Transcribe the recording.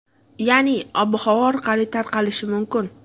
Ya’ni havo orqali tarqalishi mumkin.